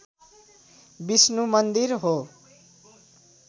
विष्णु मन्दिर हो